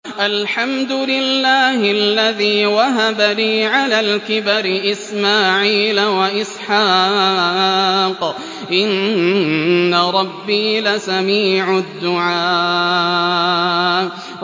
الْحَمْدُ لِلَّهِ الَّذِي وَهَبَ لِي عَلَى الْكِبَرِ إِسْمَاعِيلَ وَإِسْحَاقَ ۚ إِنَّ رَبِّي لَسَمِيعُ الدُّعَاءِ